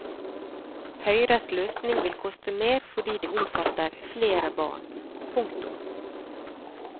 Høyres løsning vil koste mer fordi det omfatter flere barn. punktum